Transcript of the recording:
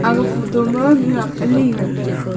aga photo ma mihun alia ngan taiga.